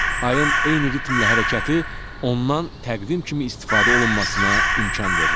Ayın eyni ritmlə hərəkəti ondan təqvim kimi istifadə olunmasına imkan verir.